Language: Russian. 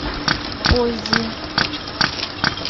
поззи